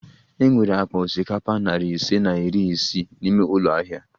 E nwere akpa osikapa nari ise na iri isii n'ime ụlọ ahịa